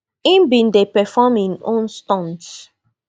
im bin dey perform im own stunts